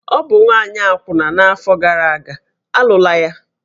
Ọ bụ nwaanyị akwụna n'afọ gara aga, a lụla ya!